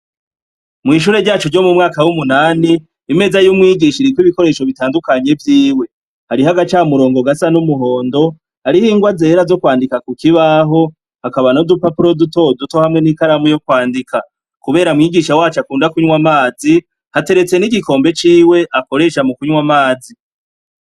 Mw'ishure ryacu ryo mu mwaka w'umunani imeza y'umwigisha iriko ibikoresho bitandukanye vyiwe hariho agaca murongo gasa n'umuhondo ariho ingwa zera zo kwandika ku kibaho hakaba no zupapuro dutoduto hamwe n'ikaramu yo kwandika, kubera mwigisha wacu akunda kunywa amazi hateretse n'igikombe ciwe akoresha mu kunywa amazi z i.